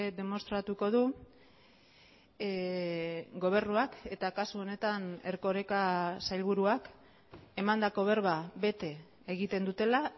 demostratuko du gobernuak eta kasu honetan erkoreka sailburuak emandako berba bete egiten dutela